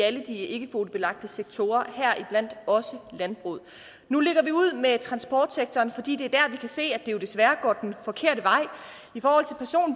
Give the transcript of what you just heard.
alle de ikkekvotebelagte sektorer heriblandt også landbruget nu lægger vi ud med transportsektoren fordi det er der vi se at det jo desværre går den forkerte vej